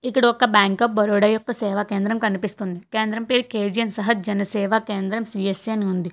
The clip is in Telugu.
ఇక్కడ ఒక బ్యాంక్ ఆఫ్ బరోడా యొక్క సేవ కేంద్రం కనిపిస్తుంది కేంద్రం పేరు కే_జి_యన్ సహజ్ జన్ సేవ కేంద్ర సి_యస్_సి అని ఉంది.